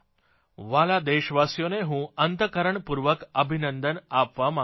વ્હાલા દેશવાસીઓને હું અંતઃકરણપૂર્વક અભિનંદન આપવા માંગુ છું